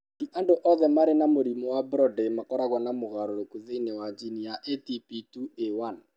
Ti andũ othe marĩ na mũrimũ wa Brody makoragwo na mogarũrũku thĩinĩ wa jini ya ATP2A1.